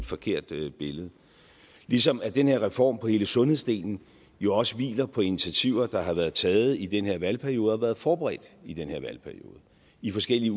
forkert billede billede ligesom den her reform på hele sundhedsdelen jo også hviler på initiativer der har været taget i den her valgperiode og været forberedt i den her valgperiode i forskellige